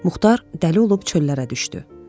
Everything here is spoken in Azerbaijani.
Muxtar dəli olub çöllərə düşdü.